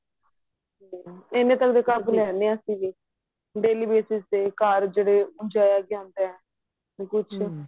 hmm ਇਹਨੇ ਤੱਕ ਦੇ ਕੱਪ ਲੈਂਦੇ ਹਾਂ ਅਸੀਂ ਵੀ daily use ਵਿੱਚ ਤੇ ਘਰ ਜਿਹੜੇ ਕਿ ਕੁੱਛ